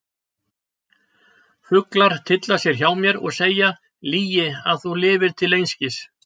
Fuglar tylla sér hjá mér og segja: lygi að þú lifðir til einskis.